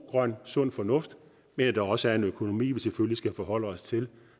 grøn sund fornuft men at der også er en økonomi vi selvfølgelig skal forholde os til